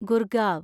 Gurgaon